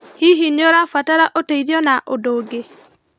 Hihi nĩũrabatara ũteithio na ũndũ ũngĩ?